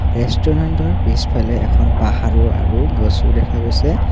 ৰেষ্টোৰেন্টৰ পিছফালে এখন পাহাৰো আৰু গছো দেখা গৈছে।